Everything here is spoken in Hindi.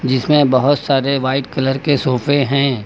जिसमें बहुत सारे व्हाइट कलर के सोफे हैं।